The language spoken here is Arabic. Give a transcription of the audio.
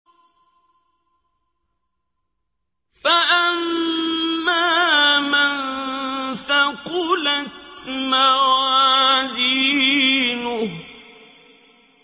فَأَمَّا مَن ثَقُلَتْ مَوَازِينُهُ